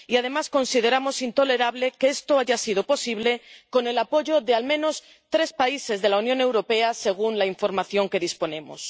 Y, además, consideramos intolerable que esto haya sido posible con el apoyo de al menos tres países de la Unión Europea, según la información de que disponemos.